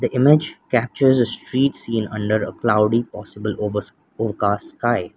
the image captures a street seen under a cloudy possible over overcast sky.